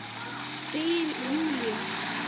Spyr Júlía.